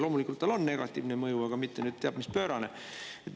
Loomulikult tal on negatiivne mõju, aga mitte nüüd teab mis pöörane.